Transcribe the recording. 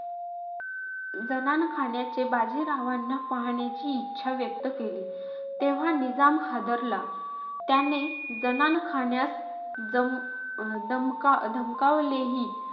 जनानखान्याचे बाजीरावांना पाहण्याची इच्छा व्यक्त केली. तेव्हा निजाम हादरला. त्याने जनानखान्यास दम अं दमका धमकावलेही.